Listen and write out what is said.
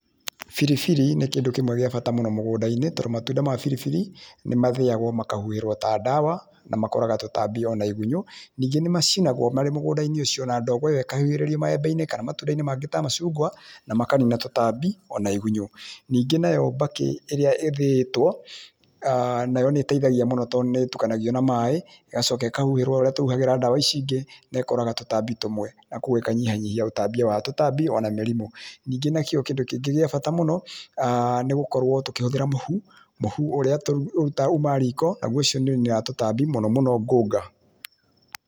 Biribiri nĩ kĩndũ kĩmwe gĩa bata mũno mũgũnda-inĩ tondũ matunda ma biribiri nĩ mathĩyagwo makahuhĩrwo ta ndawa, na makoraga tũtambi ona igunyũ, ningĩ nĩ macinagwo marĩ mũgũnda-inĩ ũcĩo na ndogo ĩyo ĩkahuhĩrĩrio maembe-inĩ kana matunda-inĩ mangĩ ta macungwa na makanina tũtambi ona igunyũ. Ningĩ nayo mbakĩ ĩria ĩthĩitwo nayo nĩteithagia mũno tondũ nĩitukanagio na maĩ ĩgacoka ĩkahuhĩrwo ũrĩa tũhuhagira ndawa ici ingĩ, naĩkoraga tũtambi rĩmwe na koguo ĩkanyihanyihia ũtambia wa tũtambi na mĩrimũ. Ningĩ nakĩo kĩndũ kĩngĩ gĩa bata mũno nĩ gũkorwo tũkĩhũthĩra mũhu, mũhu ũrĩa umaga riko ũcio nĩũninaga tũtambi mũno ngũnga.